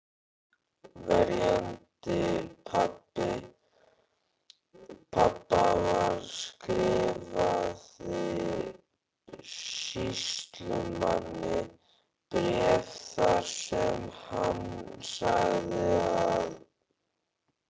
Verjandi pabba skrifaði sýslumanni bréf þar sem hann sagði að